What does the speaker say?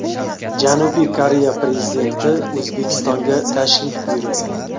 Janubiy Koreya prezidenti O‘zbekistonga tashrif buyuradi.